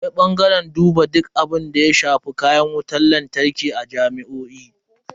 Akwai bangaren duba duk abunda ya shafi kayan wutan lantarki a jami'o'i.